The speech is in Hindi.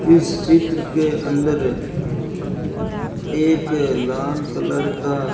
इस चित्र के अंदर एक लाल कलर का--